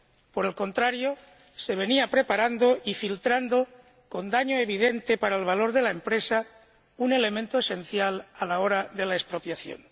Por el contrario, se venía preparando y filtrando, con daño evidente para el valor de la empresa, un elemento esencial a la hora de la expropiación.